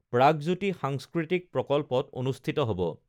প্ৰাগজ্যোতি সাংস্কৃতিক প্ৰকল্পত অনুষ্ঠিত হব